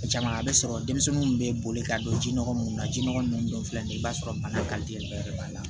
Caman a bɛ sɔrɔ denmisɛnninw bɛ boli ka don ji nɔgɔ munnu na ji nɔgɔ ninnu dɔ filɛ nin ye i b'a sɔrɔ bana bɛɛ de b'a la